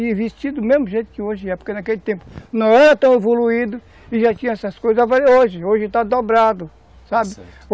E vestido do mesmo jeito que hoje é, porque naquele tempo não era tão evoluído e já tinha essas coisas, mas hoje, hoje está dobrado, sabe? Está certo.